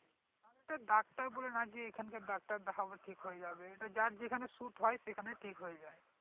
আর এটা ডাক্তার বলে না যে এখানকার ডাক্তার দেখাবো ঠিক হয়ে যাবে এটা যার যেখানে suit হয় সেখানে ঠিক হয়ে যাই